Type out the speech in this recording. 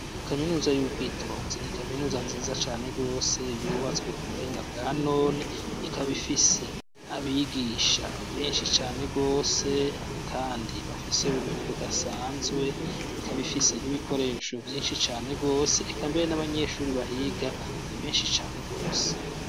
Kaminuza y'ubwitonzi ni kaminuza nziza cane gose yubatswe k'ubuhinga bwanone ikab'ifise abigisha benshi cane gose kandi bafise ubumenyi budasanzwe, ikab'ifise n'ibikoresho vyinshi cane gose eka mbere n'abanyeshure bahiga ni benshi cane gose.